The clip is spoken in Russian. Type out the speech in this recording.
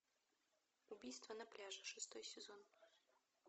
убийство на пляже шестой сезон